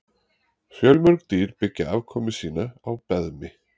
Fjölmörg dýr byggja afkomu sína á beðmi.